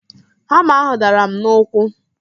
Hama ahụ dara m n'ụkwụ